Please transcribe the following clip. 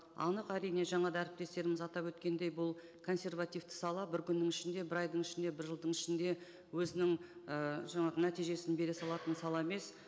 анық әрине жаңа да әріптестеріміз атап өткендей бұл консервативті сала бір күннің ішінде бір айдың ішінде бір жылдың ішінде өзінің ыыы жаңағы нәтижесін бере салатын сала емес